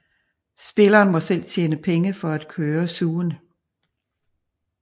Spilleren må selv tjene penge for at køre zooen